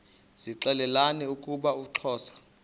zixelelana ukuba uxhosa